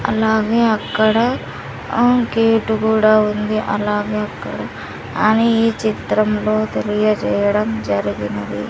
అలాగే అక్కడ అహ్ గేటు కూడా ఉంది అలాగే అక్కడ అని ఈ చిత్రంలో తెలియజేయడం జరిగినది.